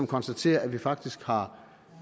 konstaterer at vi faktisk har